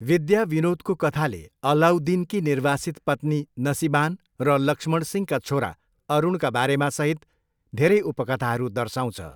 विद्याविनोदको कथाले अलाउद्दिनकी निर्वासित पत्नी नसिबान र लक्ष्मणसिंहका छोरा अरुणका बारेमा सहित धेरै उपकथाहरू दर्साउँछ।